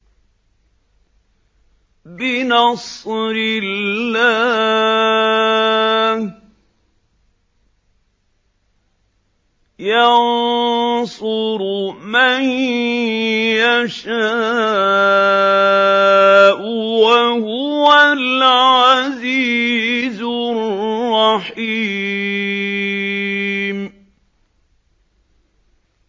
بِنَصْرِ اللَّهِ ۚ يَنصُرُ مَن يَشَاءُ ۖ وَهُوَ الْعَزِيزُ الرَّحِيمُ